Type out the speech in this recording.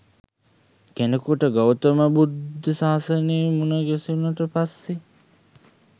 කෙනෙකුට ගෞතම බුද්ධ ශාසනය මුණගැසුනට පස්සේ